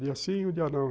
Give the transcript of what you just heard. Dia sim e um dia não.